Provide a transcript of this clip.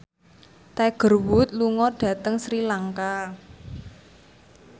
Tiger Wood lunga dhateng Sri Lanka